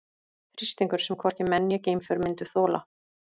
Þrýstingur sem hvorki menn né geimför myndu þola.